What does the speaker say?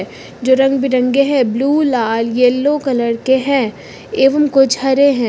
जो रंग बिरंगे हैं ब्लू लाल येलो कलर के हैं एवं कुछ हरे हैं।